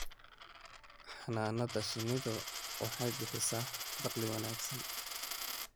Xannaanada shinnidu waxay bixisaa dakhli wanaagsan.